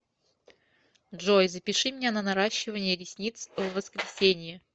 джой запиши меня на наращивание ресниц в воскресенье